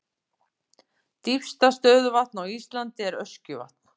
Dýpsta stöðuvatn á Íslandi er Öskjuvatn.